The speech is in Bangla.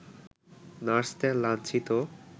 নার্সদের লাঞ্ছিত